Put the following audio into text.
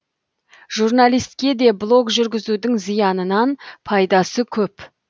журналистке де блог жүргізудің зиянынан пайдасы көп